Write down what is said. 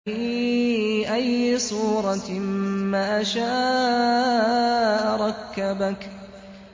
فِي أَيِّ صُورَةٍ مَّا شَاءَ رَكَّبَكَ